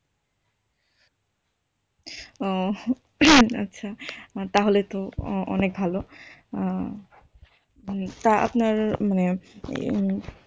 ও আচ্ছা তাহলে তো অনেক ভালো তো আপনার মানে উম